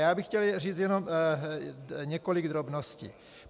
Já bych chtěl říci jenom několik drobností.